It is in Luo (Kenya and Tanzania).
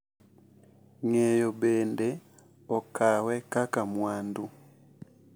Ng’eyo bende okawe kaka mwandu .